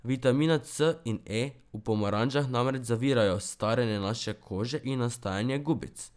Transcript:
Vitamina C in E v pomarančah namreč zavirajo staranje naše kože in nastajanje gubic.